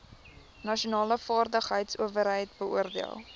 nasionale vaardigheidsowerheid beoordeel